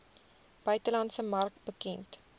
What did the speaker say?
buitelandse mark bekend